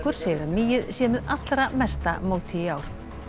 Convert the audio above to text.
segir að mýið sé með allra mesta móti í ár